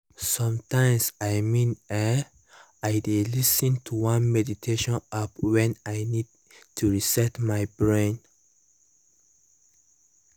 sometimes i mean[um]i dey lis ten to one meditation app when i need to reset my brain